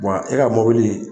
e ka mɔbili.